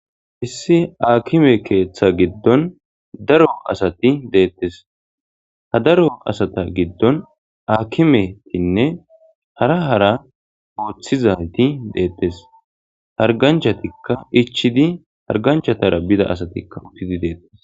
Issi aakime keeththa giddon daro asati deettes ha daro asata giddon akimetinne hara hara gooththizayti deettes harganchatikka ichidi harganchatara bida asatikka uttidi deettes.